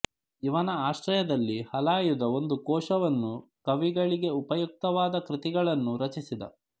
ಇವನ ಆಶ್ರಯದಲ್ಲಿ ಹಲಾಯುಧ ಒಂದು ಕೋಶವನ್ನೂ ಕವಿಗಳಿಗೆ ಉಪಯುಕ್ತವಾದ ಕೃತಿಗಳನ್ನೂ ರಚಿಸಿದ